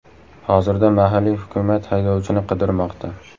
Hozirda mahalliy hukumat haydovchini qidirmoqda.